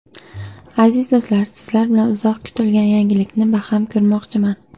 Aziz do‘stlar, sizlar bilan uzoq kutilgan yangilikni baham ko‘rmoqchiman.